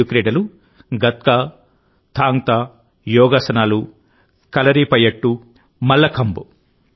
ఈ ఐదు క్రీడలు గత్కా థాంగ్ తా యోగాసనాలు కలరిపయట్టు మల్లఖంబ్